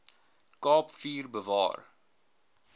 kaap vier bewaar